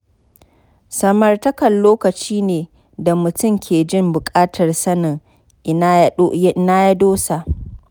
Samartaka lokaci ne da mutum ke jin bukatar sanin ina ya dosa